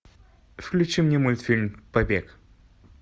включи мне мультфильм побег